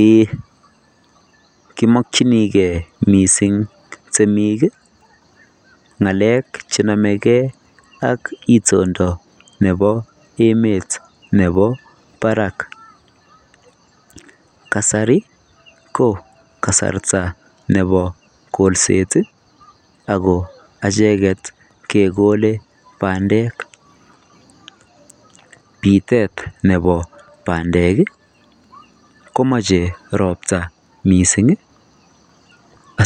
Eeeh kimokchinigei mising temik bgalek chenomegei ak itondo nebo emet nebo barak kasari ko kasarta nebo kolset ago acheget kogole bandek bitet neboi bandek komoche ropta mising